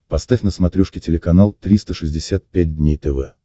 поставь на смотрешке телеканал триста шестьдесят пять дней тв